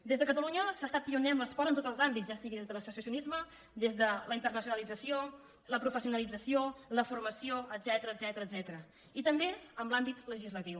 des de catalunya s’ha estat pioner en l’esport en tots els àmbits ja sigui des de l’associacionisme des de la internacionalització la professionalització la formació etcètera i també en l’àmbit legislatiu